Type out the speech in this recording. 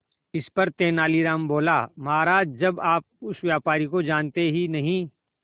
इस पर तेनालीराम बोला महाराज जब आप उस व्यापारी को जानते ही नहीं